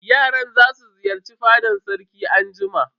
Yaran za su ziyarci fadan sarki anjima.